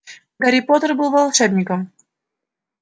гарри поттер был волшебником